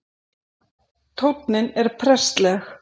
Tónninn er prestleg